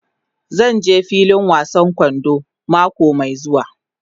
Zan je filin wasan kwando mako mai zuwa.